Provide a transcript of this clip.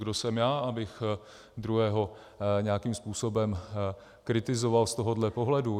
Kdo jsem já, abych druhého nějakým způsobem kritizoval z tohohle pohledu?